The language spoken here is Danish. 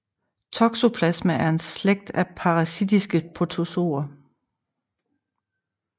Toxoplasma er en slægt af parasitiske protozoer